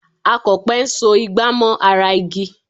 Akọ̀pẹ ń so ìgbà mọ́ ara igi